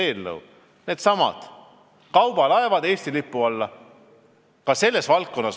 Selle teema on kaubalaevade toomine Eesti lipu alla.